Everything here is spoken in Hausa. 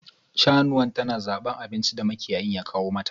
Shanuwan ta na zaban abinci da makiyayin ya kawo mata.